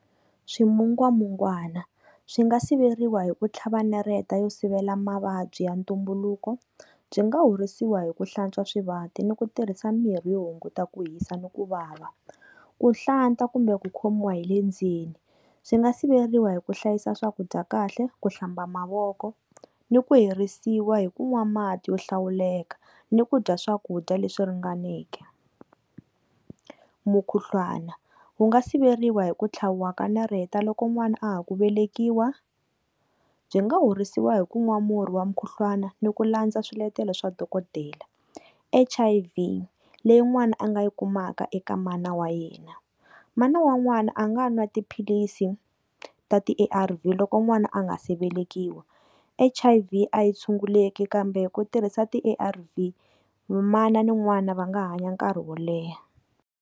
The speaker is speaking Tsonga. Swimungwamungwana, swi nga siveriwa hi ku tlhava nareta yo sivela mavabyi ya ntumbuluko. Byi nga horisiwa hi ku hlantswa swivati ni ku tirhisa mimirhi yo hunguta ku hisa ni ku vava. Ku hlanta kumbe ku khomiwa hi le ndzeni, swi nga siveriwa hi ku hlayisa swakudya kahle, ku hlamba mavoko, ni ku herisiwa hi ku nwa mati yo hlawuleka, ni ku dya swakudya leswi ringaneke. Mukhuhlwana, wu nga siveriwa hi ku tlhaviwa ka nareta loko n'wana a ha ku velekiwa, byi nga horisiwa hi ku nwa murhi wa mukhuhlwana ni ku landza swiletelo swa dokodela. H_I_V leyi n'wana a nga yi kumaka eka mana wa yena. Mana wa n'wana a nga na tiphilisi ta ti A_R_V loko n'wana a nga se velekiwa. H_I_V a yi tshunguleki kambe hi ku tirhisa ti A_R_V mana ni n'wana va nga hanya nkarhi wo leha.